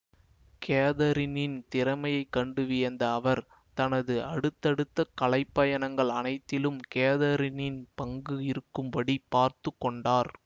கேதரினின் திறமையை கண்டு வியந்த அவர் தனது அடுத்தடுத்த கலைப்பயணங்கள் அனைத்திலும் கேதரினின் பங்கு இருக்கும்படி பார்த்துக்கொண்டார்